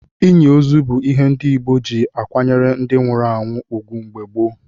Inyi ozu bụ ìhè ndị Igbo ji akwanyere ndi nwụrụ anwụ ugwu mgbe gboo.